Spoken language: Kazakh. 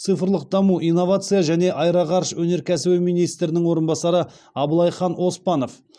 цифрлық даму инновация және аэроғарыш өнеркәсібі министрінің орынбасары аблайхан оспанов